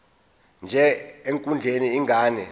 nje ekondleni ingane